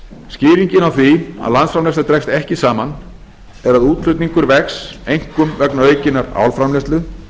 skýringin á því að landsframleiðsla dregst ekki saman er að útflutningur vex einkum vegna aukinnar álframleiðslu